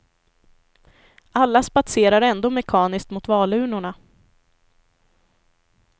Alla spatserar ändå mekaniskt mot valurnorna.